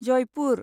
Jaipur